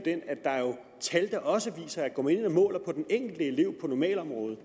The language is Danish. tal der også viser at går man ind og måler på den enkelte elev på normalområdet